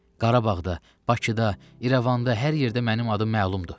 Qarabağda, Bakıda, İrəvanda hər yerdə mənim adım məlumdur.